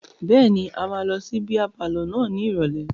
Bẹ́ẹ̀ni, a máa lọ sí bíá palọ̀ náà ní ìrọ̀lẹ́.